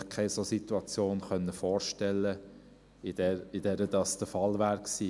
– Ich habe mir einfach keine solche Situation vorstellen können, in der dies der Fall gewesen wäre.